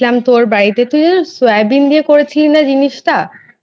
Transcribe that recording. তোর বাড়িতে তুইও সয়াবিন দিয়ে করেছিলিস না জিনিসটা